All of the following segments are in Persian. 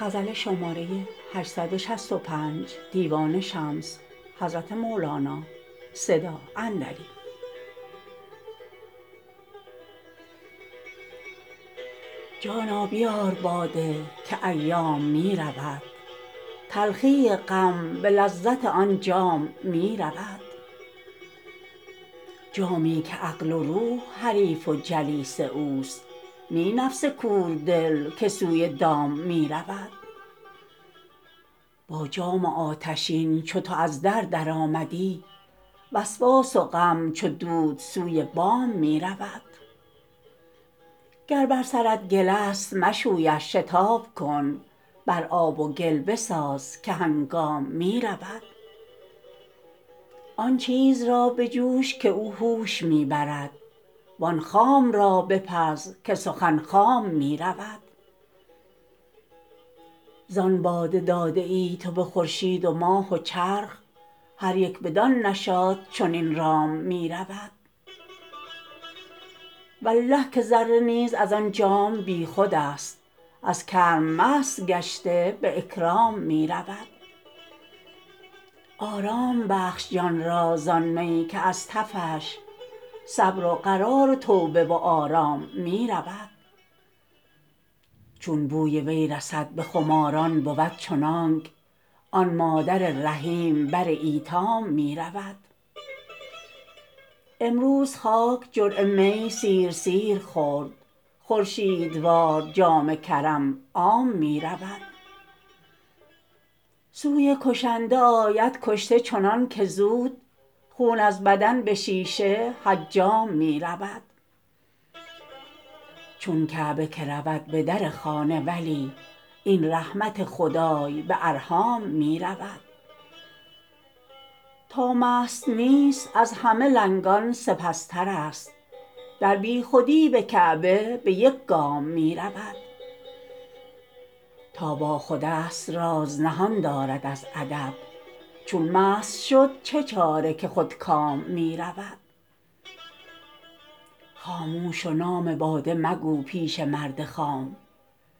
جانا بیار باده که ایام می رود تلخی غم به لذت آن جام می رود جامی که عقل و روح حریف و جلیس اوست نی نفس کوردل که سوی دام می رود با جام آتشین چو تو از در درآمدی وسواس و غم چو دود سوی بام می رود گر بر سرت گلست مشویش شتاب کن بر آب و گل بساز که هنگام می رود آن چیز را بجوش که او هوش می برد وان خام را بپز که سخن خام می رود زان باده داده ای تو به خورشید و ماه و چرخ هر یک بدان نشاط چنین رام می رود والله که ذره نیز از آن جام بیخودست از کرم مست گشته به اکرام می رود آرام بخش جان را زان می که از تفش صبر و قرار و توبه و آرام می رود چون بوی وی رسد به خماران بود چنانک آن مادر رحیم بر ایتام می رود امروز خاک جرعه می سیر سیر خورد خورشیدوار جام کرم عام می رود سوی کشنده آید کشته چنانک زود خون از بدن به شیشه حجام می رود چون کعبه که رود به در خانه ولی این رحمت خدای به ارحام می رود تا مست نیست از همه لنگان سپس ترست در بیخودی به کعبه به یک گام می رود تا باخودست راز نهان دارد از ادب چون مست شد چه چاره که خودکام می رود خاموش و نام باده مگو پیش مرد خام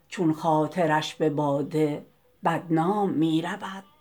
چون خاطرش به باده بدنام می رود